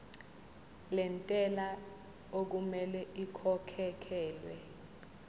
lentela okumele ikhokhekhelwe